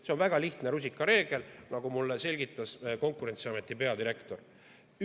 See on väga lihtne rusikareegel, nagu mulle selgitas Konkurentsiameti peadirektor.